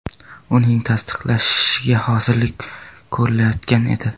Uning tasdiqlanishiga hozirlik ko‘rilayotgan edi.